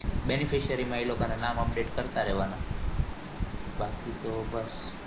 Benex facial એ લોકોના નામ update કરતા રેવાના બાકી તો બસ